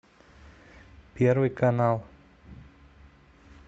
первый канал